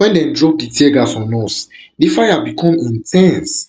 wen dem drop di tear gas on us di fire become in ten se